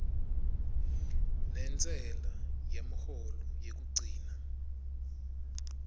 nentsela yemholo yekugcina